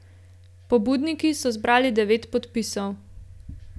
Pobudniki so zbrali devet podpisov.